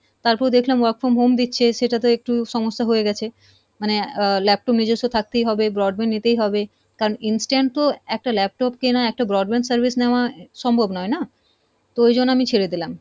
তারপরে দেখলাম work from home দিচ্ছে সেটাতো একটু সমস্যা হয়ে গেছে, মানে আহ laptop নিজস্ব থাকতেই হবে broadband নিতেই হবে, কারণ instant তো একটা laptop কেনার একটা broadband service নেওয়া সম্ভব নয় না, তো ওই জন্য আমি ছেড়ে দিলাম।